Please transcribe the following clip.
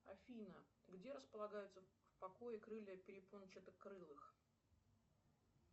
афина где располагаются в покое крылья перепончатокрылых